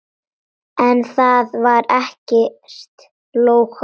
En þar var ekkert lógó.